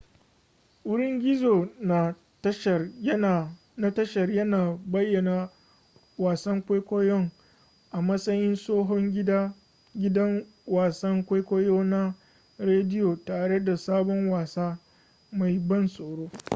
wurin gizo na tashar yana bayyana wasan kwaikwayon a matsayin tsohon gidan wasan kwaikwayo na rediyo tare da sabon wasa mai ban tsoro